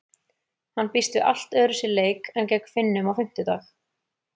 Hann býst við allt öðruvísi leik en gegn Finnum á fimmtudag.